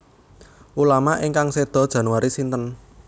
Ulama ingkang sedo Januari sinten